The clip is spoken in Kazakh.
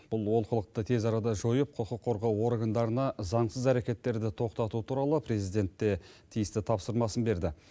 бұл олқылықты тез арада жойып құқық қорғау органдарына заңсыз әрекеттерді тоқтату туралы президент те тиісті тапсырмасын берді